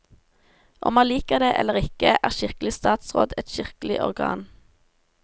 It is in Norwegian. Om man liker det eller ikke, er kirkelig statsråd et kirkelig organ.